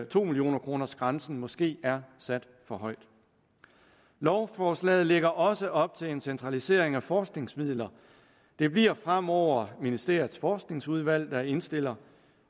to millioner kroners grænsen måske er sat for højt lovforslaget lægger også op til en centralisering af forskningsmidler det bliver fremover ministeriets forskningsudvalg der indstiller